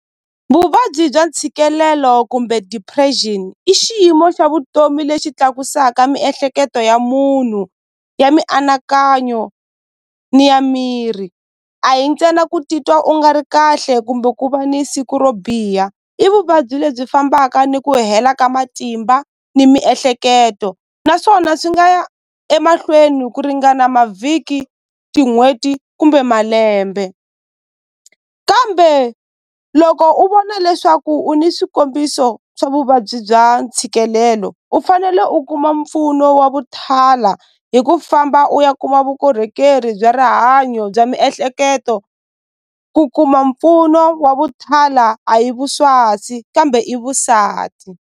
Vuvabyi bya ntshikelelo kumbe depression i xiyimo xa vutomi lexi tlakusaka miehleketo ya munhu ya mianakanyo ni ya miri a hi ntsena ku titwa u nga ri kahle kumbe ku va ni siku ro biha i vuvabyi lebyi fambaka ni ku hela ka matimba ni miehleketo naswona swi nga ya emahlweni ku ringana mavhiki tin'hweti kumbe malembe kambe loko u vona leswaku u ni swikombiso swa vuvabyi bya ntshikelelo u fanele u kuma mpfuno wa vuthala hi ku famba u ya kuma vukorhokeri bya rihanyo bya miehleketo ku kuma mpfuno wa vuthala a hi kambe i vusati.